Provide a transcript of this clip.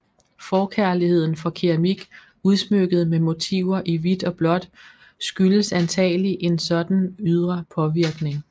Forkærligheden for keramik udsmykket med motiver i hvidt og blåt skyldes antagelig en sådan ydre påvirkning